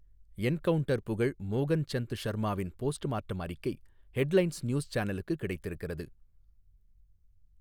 Encounter புகழ் மோகன் சந்த் ஷர்மாவின் போஸ்ட் மார்ட்டம் அறிக்கை ஹெட் லைன்ஸ் நியூஸ் சானலுக்குக் கிடைத்திருக்கிறது.